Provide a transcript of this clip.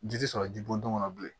Ji tɛ sɔrɔ ji bɔn don na bilen